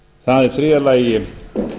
það er í þriðja lagi